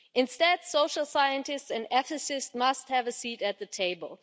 Instead, social scientists and ethicists must have a seat at the table.